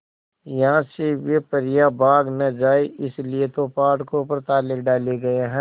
यहां से वे परियां भाग न जाएं इसलिए तो फाटकों पर ताले डाले गए हैं